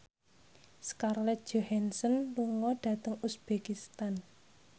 Scarlett Johansson lunga dhateng uzbekistan